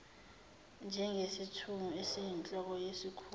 njengesithunywa esiyinhloko yesikhungo